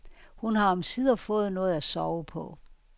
Hun har omsider fået noget at sove på.